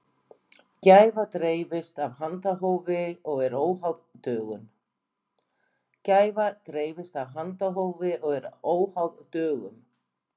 gæfa dreifist af handahófi og er óháð dögum